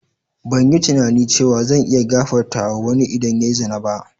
Ban yi tunani cewa zan iya gafartawa ma wanni idan ya yi zina ba.